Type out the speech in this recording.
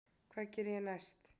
Hvað geri ég næst?